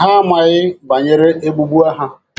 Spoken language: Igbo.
ha amaghị banyere egbugbu ha